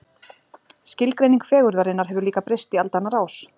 Skilgreining fegurðarinnar hefur líka breyst í aldanna rás.